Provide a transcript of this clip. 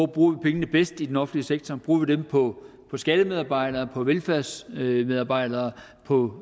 bruger pengene bedst i den offentlige sektor bruger vi dem på skattemedarbejdere på velfærdsmedarbejdere på